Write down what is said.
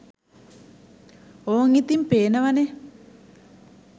ඕං ඉතිං පේනව​නේ